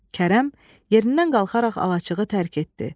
Kərəm yerindən qalxaraq alaçığı tərk etdi.